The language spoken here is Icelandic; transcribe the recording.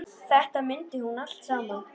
Þetta mundi hún allt saman.